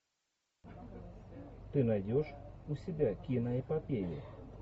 ты найдешь у себя киноэпопею